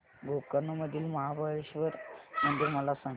गोकर्ण मधील महाबलेश्वर मंदिर मला सांग